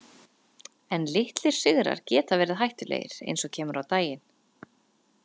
En litlir sigrar geta verið hættulegir, eins og kemur á daginn.